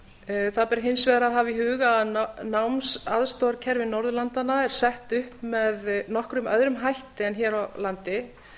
norðurlöndunum það ber hins vegar að hafa í huga að námsaðstoðarkerfi norðurlandanna er sett upp með nokkuð öðrum hætti en hér á landi